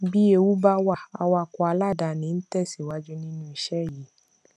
bí ewu bá wà awakọ aláàdáni ń tẹsíwájú nínú ìṣe yìí